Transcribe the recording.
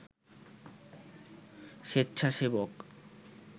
স্বেচ্ছাসেবক